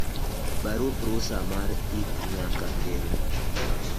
barup rusa mar ik nyaka kel